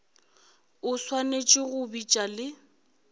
o swanetše go bitša le